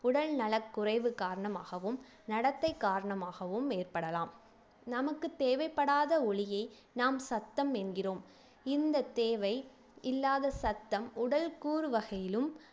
உடல்நலக்குறைவு காரணமாகவும் நடத்தை காரணமாகவும் ஏற்படலாம் நமக்கு தேவைப்படாத ஒலியை நாம் சத்தம் என்கிறோம் இந்தத் தேவை இல்லாத சத்தம் உடல்கூறு வகையிலும்